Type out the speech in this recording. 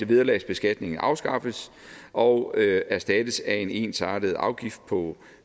vederlagsbeskatningen afskaffes og erstattes af en ensartet afgift på